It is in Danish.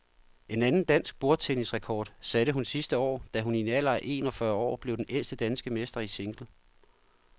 En anden dansk bordtennisrekord satte hun sidste år, da hun i en alder af en og fyrre år blev den ældste danske mester i single.